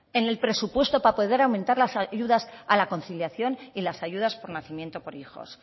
en el presupuesto para poder aumentar las ayudas a la conciliación y las ayudas por nacimiento por hijos